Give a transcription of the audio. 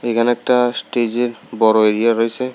এইখানে একটা স্টেজের বড় এরিয়া রয়েছে।